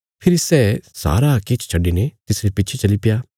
फेरी सै सारा किछ छड्डिने तिसरे पिच्छे चलीप्या